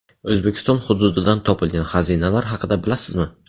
O‘zbekiston hududidan topilgan xazinalar haqida bilasizmi?.